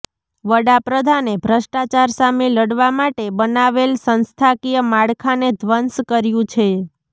વડાપ્રધાને ભ્રષ્ટાચાર સામે લડવા માટે બનાવેલ સંસ્થાકીય માળખાને ધ્વંસ કર્યું છે